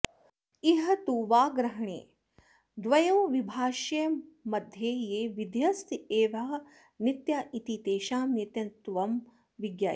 इह तु वाग्रहणे द्वयोर्विभाषयोर्मध्ये ये विधयस्त एवह नित्या इति तेषां नित्यत्वं विज्ञायते